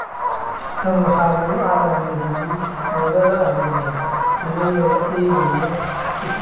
Tan waxaa lagu calaamadeeyay labada arrimood iyadoo la eegayo isdhexgalka barashada asaagga.